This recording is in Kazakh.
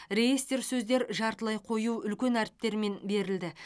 реестр сөздер жартылай қою үлкен әріптермен берілді